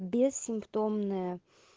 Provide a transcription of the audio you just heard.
бессимптомная